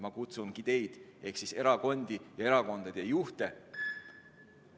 Ma kutsungi teid ehk erakondi ja erakondade juhte ...